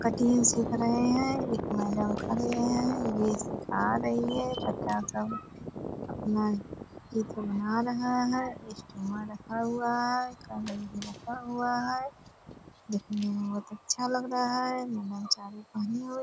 cutting सीख रहे है एक मैडम खड़े है वे सीखा रही है बच्चा सब अपना चित्र बना रहा है ईस्ट वहाँ रखा हुआ है रखा हुआ है दिखने में बहुत अच्छा लग रहा है --